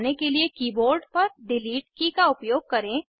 structure के red colour वाले भाग पर क्लिक करें इसको डिलीट करने के लिए